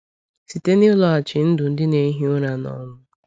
Site n’ịlọghachi ndụ ndị na-ehi ụra n’ọnwụ.